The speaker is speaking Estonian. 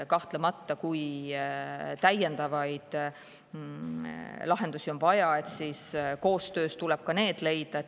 Kahtlemata, kui täiendavaid lahendusi on vaja, siis koostöös tuleb need leida.